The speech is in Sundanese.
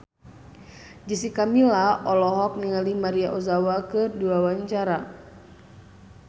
Jessica Milla olohok ningali Maria Ozawa keur diwawancara